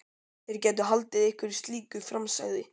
Þeir gætu haldið einhverju slíku fram sagði